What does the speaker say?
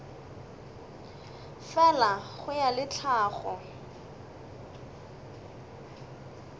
fela go ya le tlhago